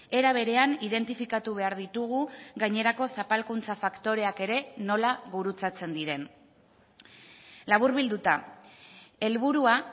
era berean identifikatu behar ditugu gainerako zapalkuntza faktoreak ere nola gurutzatzen diren laburbilduta helburua